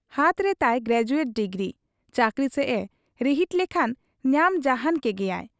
ᱦᱟᱛ ᱨᱮᱛᱟᱭ graduate degree, ᱪᱟᱹᱠᱨᱤᱥᱮᱫ ᱮ ᱨᱤᱦᱤᱴ ᱞᱮᱠᱷᱟᱱ ᱧᱟᱢ ᱡᱟᱦᱟᱱ ᱠᱮᱜᱮᱭᱟᱭ ᱾